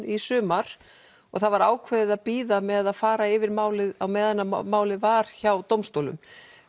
í sumar og það var ákveðið að bíða með að fara yfir málið á meðan málið var hjá dómstólum